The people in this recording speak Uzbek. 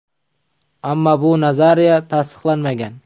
Ammo bu nazariya tasdiqlanmagan.